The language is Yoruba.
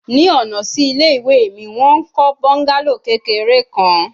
Ni ọna si ile-iwe mi, wọn n kọ bungalow kekere kan